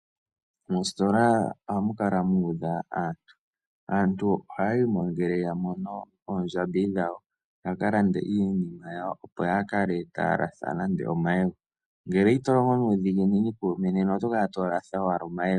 Mositola ohamu kala mu udha aantu. Aantu ohaya yi mo ngele ya mono oondjambi dhawo ya ka lande iinima yawo, opo yaa kale taya latha nande omayego. Ngele ito longo nuudhigini kuume nena oto kala owala to latha omayego.